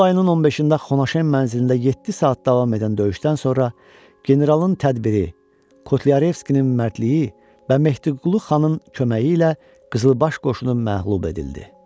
İyul ayının 15-də Xonaşem mənzilində yeddi saat davam edən döyüşdən sonra generalın tədbiri, Kotlyarevskinin mərdliyi və Mehdiqulu xanın köməyi ilə qızılbaş qoşunu məğlub edildi.